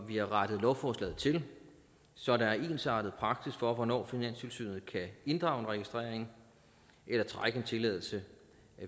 vi har rettet lovforslaget til så der er ensartet praksis for hvornår finanstilsynet kan inddrage en registrering eller trække en tilladelse